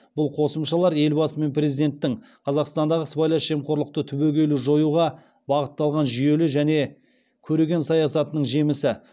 бұл қосымшалар елбасы мен президенттің қазақстандағы сыбайлас жемқорлықты түбегейлі жоюға бағытталған жүйелі және көреген саясатының жемісі